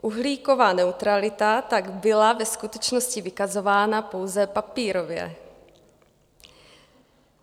Uhlíková neutralita tak byla ve skutečnosti vykazována pouze papírově.